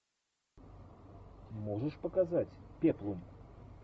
можешь показать пеплум